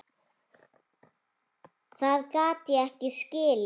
Það gat ég ekki skilið.